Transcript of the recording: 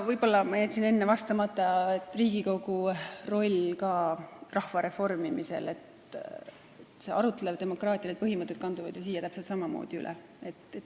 Võib-olla ma jätsin enne ütlemata Riigikogu rolli kohta rahva reformimisel, et arutleva demokraatia põhimõtted kanduvad ju siia täpselt samamoodi üle.